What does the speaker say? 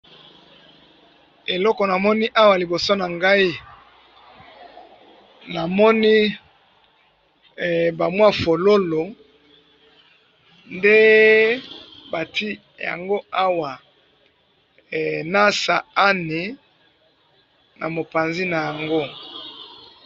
Eloko na moni awa liboso na nga eza mwa fololo nde bati yango awa, na sani na mopanzi nayango